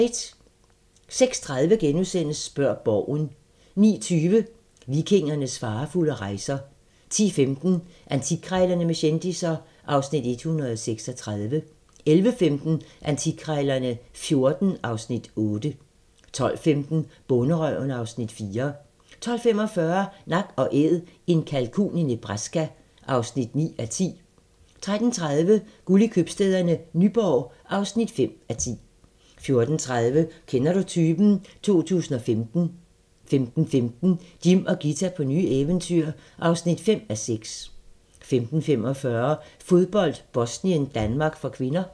06:30: Spørg Borgen * 09:20: Vikingernes farefulde rejser 10:15: Antikkrejlerne med kendisser (Afs. 136) 11:15: Antikkrejlerne XIV (Afs. 8) 12:15: Bonderøven (Afs. 4) 12:45: Nak & Æd - en kalkun i Nebraska (9:10) 13:30: Guld i købstæderne - Nyborg (5:10) 14:30: Kender du typen? 2015 15:15: Jim og Ghita på nye eventyr (5:6) 15:45: Fodbold: Bosnien-Danmark (k)